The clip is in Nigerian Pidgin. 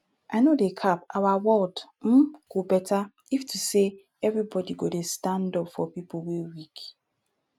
i no dey cap our world um go beta if to say everybody go dey stand up for pipo wey weak